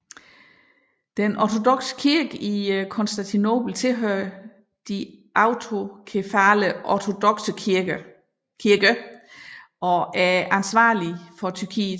Den ortodokse kirke i Konstantinopel tilhører de autokefale ortodokse kirker og er ansvarlig for Tyrkiet